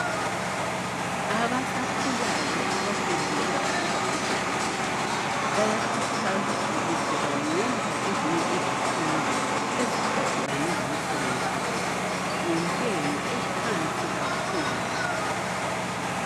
Abasakhulayo abafundela ukuba ngodokotela, bayakhuthazwa ukuthi bangenza ezinye izifundo eziphathelana lomsebenzi wabo ngentengo ephansi kakhulu.